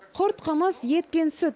құрт қымыз ет пен сүт